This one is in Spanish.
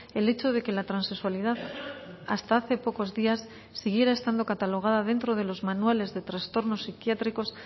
el hecho de que la transexualidad hasta hace pocos días siguiera estando catalogada dentro de los manuales de trastornos psiquiátricos